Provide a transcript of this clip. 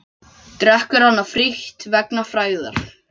Drekkur þarna frítt vegna fyrri frægðar.